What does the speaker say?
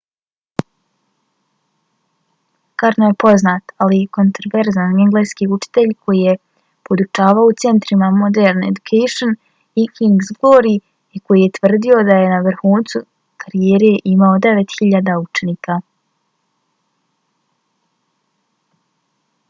karno je poznat ali kontroverzan engleski učitelj koji je podučavao u centrima modern education i king’s glory i koji je tvrdio da je na vrhuncu karijere imao 9.000 učenika